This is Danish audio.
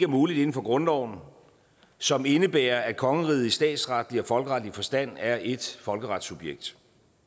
muligt inden for grundloven som indebærer at kongeriget i statsretlig og folkeretlig forstand er ét folkeretssubjekt